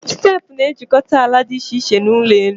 Steepụ na-ejikọta ala dị iche iche na ụlọ elụ